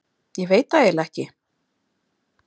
Ég veit það eiginlega ekki.